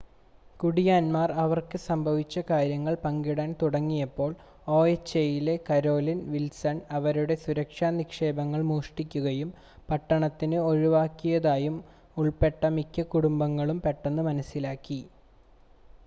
കുടിയാന്മാർ അവർക്ക് സംഭവിച്ച കാര്യങ്ങൾ പങ്കിടാൻ തുടങ്ങിയപ്പോൾ ഒഎച്ച്എയിലെ കരോലിൻ വിൽസൺ അവരുടെ സുരക്ഷാ നിക്ഷേപങ്ങൾ മോഷ്ടിക്കുകയും പട്ടണത്തിന് ഒഴിവാക്കിയതായും ഉൾപ്പെട്ട മിക്ക കുടുംബങ്ങളും പെട്ടെന്ന് മനസ്സിലാക്കി